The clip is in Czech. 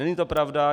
Není to pravda.